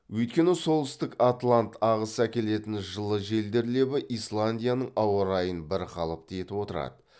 өйткені солтүстік атлант ағысы әкелетін жылы желдер лебі исландияның ауа райын бірқалыпты етіп отырады